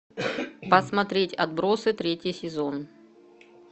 посмотреть отбросы третий сезон